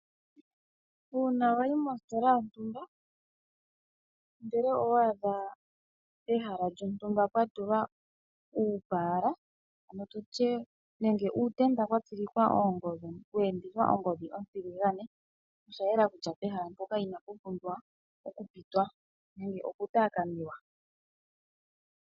Uuna wayi mositola yontumba ndele owa adha pehala lyontumba pwatulwa uupaala nenge uutenda watsilikwa oongodhi we endithwa ongodhi ontiligane oshayela kutya pehala mpoka inapu pumbwa oku pitwa nenge okutaakanwa.